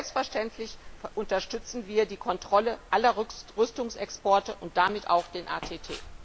Doch selbstverständlich unterstützen wir die Kontrolle aller Rüstungsexporte und damit auch den ATT.